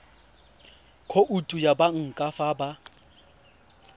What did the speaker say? khoutu ya banka fa ba